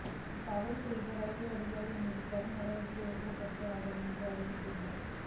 தவறு செய்த ரயில்வே அதிகாரிகள் மீது கடும் நடவடிக்கை எடுக்கப்பட்டும் என்று அவர் அறிவித்துள்ளார்